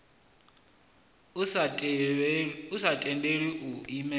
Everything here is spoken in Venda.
a sa tendeli u imelelwa